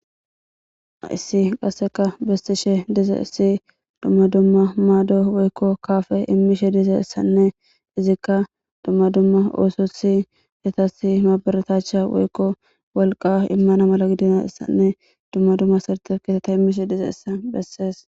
issi qasseka bessishe dize issi dumma dumma maado woykko kaafe immishe dize issanne izikka dumma dumma oosothi yatasi maaberetacha woykko wolqa immana mala gidina issanne dumma dumma sirte kiteta immishe dize issa bessees